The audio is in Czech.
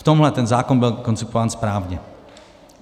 V tomhle ten zákon byl koncipován správně.